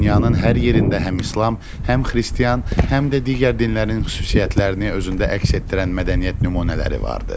Dünyanın hər yerində həm İslam, həm Xristian, həm də digər dinlərin xüsusiyyətlərini özündə əks etdirən mədəniyyət nümunələri vardır.